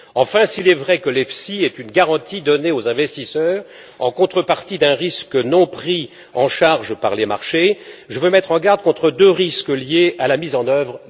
Enfin, s'il est vrai que l'EFSI est une garantie donnée aux investisseurs en contrepartie d'un risque non pris en charge par les marchés, je veux mettre en garde contre deux risques liés à sa mise en œuvre.